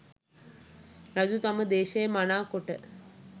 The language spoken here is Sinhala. රජු තම දේශය මනා කොට